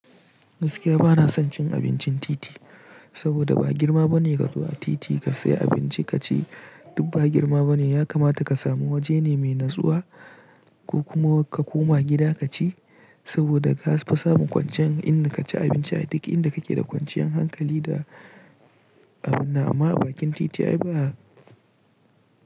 Gaskiya bana son cin abincin titi, saboda ba girma bane ka zo a titi ka sayi abinci ka ci, duk ba girma bane. Ya kamata ka samu waje ne mai natsuwa ko kuma ka koma gida ka ci saboda kas fi samun kwanciyan inda ka ci abinci a duk inda kake da kwanciyan hankali da abunnan amma a bakin titi ayi ba.